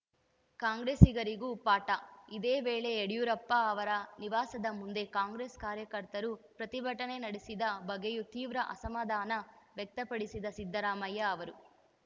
ಕಾಂಗ್ರೆಸ್ಸಿಗರಿಗೂ ಪಾಠ ಇದೇ ವೇಳೆ ಯಡಿಯೂರಪ್ಪ ಅವರ ನಿವಾಸದ ಮುಂದೆ ಕಾಂಗ್ರೆಸ್‌ ಕಾರ್ಯಕರ್ತರು ಪ್ರತಿಭಟನೆ ನಡೆಸಿದ ಬಗ್ಗೆಯೂ ತೀವ್ರ ಅಸಮಾಧಾನ ವ್ಯಕ್ತಪಡಿಸಿದ ಸಿದ್ದರಾಮಯ್ಯ ಅವರು